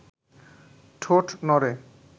ঠোঁট নড়ে